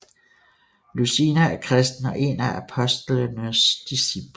Lucina er kristen og én af apostlenes disciple